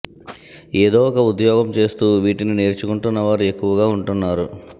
ఏదో ఒక ఉద్యోగం చేస్తూ వీటిని నేర్చుకుంటున్న వారు ఎక్కువగా ఉంటున్నారు